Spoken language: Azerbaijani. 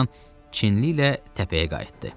Bir azdan Çinli ilə təpəyə qayıtdı.